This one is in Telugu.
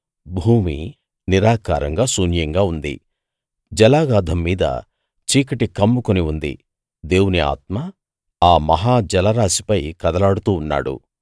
భూమి నిరాకారంగా శూన్యంగా ఉంది జలాగాధం మీద చీకటి కమ్ముకుని ఉంది దేవుని ఆత్మ ఆ మహా జలరాశిపై కదలాడుతూ ఉన్నాడు